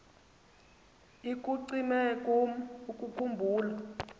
ikucime kum ukukhumbula